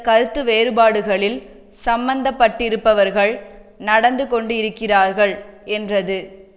கருத்துவேறுபாடுகளில் சம்மந்தப்பட்டிருப்பவர்கள் நடந்து கொண்டிருக்கிறார்கள் என்றது